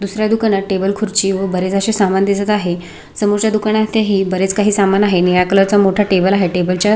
दुसऱ्या दुकानात टेबल खुर्ची व बरेच असे समान दिसत आहे समोरच्या दुकानात ही बरेच काही समान आहे निळ्या कलर चा मोठा टेबल आहे टेबलच्या --